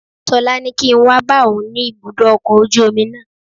Ṣọlá ní kí n wá bá òun ni ibùdó ọkọ̀ ojú omi náà